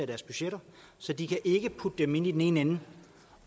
deres budgetter så de kan ikke putte dem ind i den ene ende